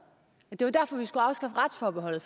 det var derfor vi skulle afskaffe retsforbeholdet